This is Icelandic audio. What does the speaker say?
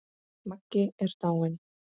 Maggi er dáinn!